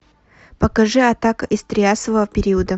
покажи атака из триасового периода